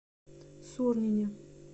сурнине